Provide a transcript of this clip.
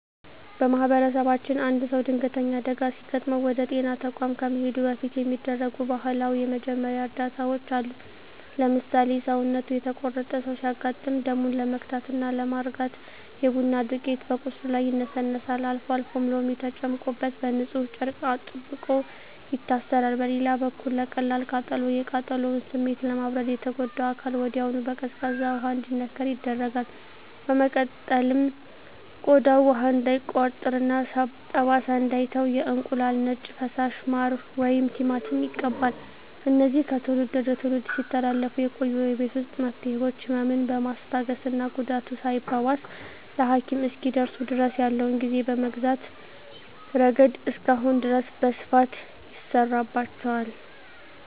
በማኅበረሰባችን አንድ ሰው ድንገተኛ አደጋ ሲገጥመው ወደ ጤና ተቋም ከመሄዱ በፊት የሚደረጉ ባህላዊ የመጀመሪያ እርዳታዎች አሉ። ለምሳሌ፣ ሰውነቱ የተቆረጠ ሰው ሲያጋጥም ደሙን ለመግታትና ለማርጋት የቡና ዱቄት በቁስሉ ላይ ይነሰነሳል፤ አልፎ አልፎም ሎሚ ተጨምቆበት በንፁህ ጨርቅ አጥብቆ ይታሰራል። በሌላ በኩል ለቀላል ቃጠሎ፣ የቃጠሎውን ስሜት ለማብረድ የተጎዳው አካል ወዲያውኑ በቀዝቃዛ ውሃ እንዲነከር ይደረጋል። በመቀጠልም ቆዳው ውሃ እንዳይቋጥርና ጠባሳ እንዳይተው የእንቁላል ነጭ ፈሳሽ፣ ማር ወይም ቲማቲም ይቀባል። እነዚህ ከትውልድ ወደ ትውልድ ሲተላለፉ የቆዩ የቤት ውስጥ መፍትሄዎች፣ ህመምን በማስታገስና ጉዳቱ ሳይባባስ ለሐኪም እስኪደርሱ ድረስ ያለውን ጊዜ በመግዛት ረገድ እስካሁን ድረስ በስፋት ይሠራባቸዋል።